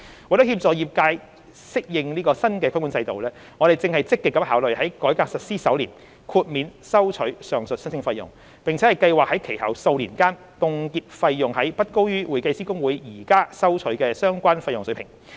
為協助業界適應新規管制度，我們正積極考慮在改革實施首年豁免收取上述申請費用，並計劃在其後數年間凍結費用於不高於會計師公會現正收取的相關費用水平。